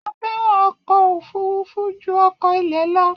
A fẹràn ọkọ òfurufú ju ọkọ ilẹ lọ